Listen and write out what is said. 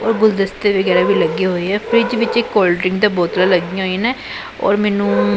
ਔਰ ਗੁਲਦਸਤੇ ਵਗੈਰਾ ਵੀ ਲੱਗੇ ਹੋਏ ਐ ਫਰਿਜ ਵਿੱਚ ਇੱਕ ਕੋਲਡ ਡਰਿੰਕ ਤੇ ਬੋਤਲਾਂ ਲੱਗੀਆਂ ਹੋਈਆਂ ਨੇ ਔਰ ਮੈਨੂੰ--